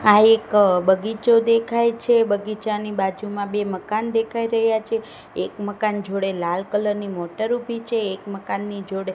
આ એક બગીચો દેખાય છે બગીચાની બાજુમાં બે મકાન દેખાય રહ્યા છે એક મકાન જોડે લાલ કલર ની મોટર ઊભી છે એક મકાનની જોડે--